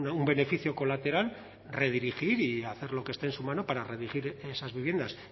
un beneficio colateral redirigir y hacer lo que esté en su mano para redirigir esas viviendas